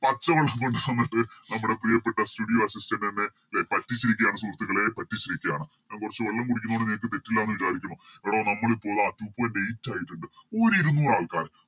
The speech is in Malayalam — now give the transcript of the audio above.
പച്ച വെള്ളം കൊണ്ടുവന്നിട്ട് നമ്മുടെ പ്രിയപ്പെട്ട Studio assistant എന്നെ പറ്റിച്ചിരിക്കുകയാണ് സുഹൃത്തുക്കളെ പറ്റിച്ചിരിക്കുകയാണ് ഞാൻ കൊറച്ച് വെള്ളം കുടിക്കുന്ന കൊണ്ട് നിങ്ങക്ക് തെറ്റില്ലാന്ന് വിചാരിക്കുന്നു എടാ നമ്മളിപ്പോ Two point eight ആയിട്ടുണ്ട് ഒര് ഇരുനൂറാൾക്കാർ